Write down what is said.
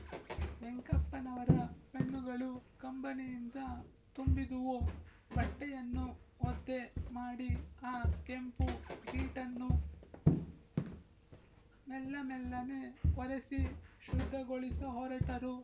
ವೆಂಕಪ್ಪನವರ ಕಣ್ಣುಗಳು ಕಂಬನಿಯಿಂದ ತುಂಬಿದುವು ಬಟ್ಟೆಯನ್ನು ಒದ್ದೆ ಮಾಡಿ ಆ ಕೆಂಪು ಗೀಟನ್ನು ಮೆಲ್ಲಮೆಲ್ಲನೆ ಒರೆಸಿ ಶುದ್ಧಗೊಳಿಸಹೊರಟರು